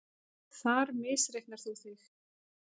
Þar misreiknar þú þig.